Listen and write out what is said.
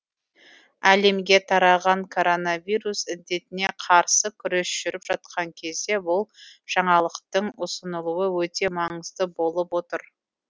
әлемге тараған коронавирус індетіне қарсы күрес жүріп жатқан кезде бұл жаңалықтың ұсынылуы өте маңызды болып отыр